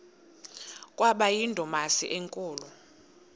kwaba yindumasi enkulu